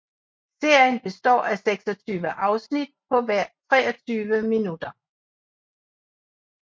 Serien består af 26 afsnit på hver 23 minutter